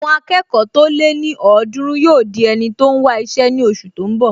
Àwọn akẹ́kọ̀ọ́ tó lé ní ọ̀ọ́dúrún yóò di ẹni tó n wá iṣẹ́ ní oṣù tó n bọ̀